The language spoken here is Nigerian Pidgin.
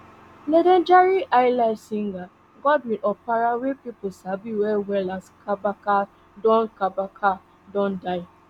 legendary highlife singer godwin opara wey pipo sabi wellwell as kabaka don kabaka don die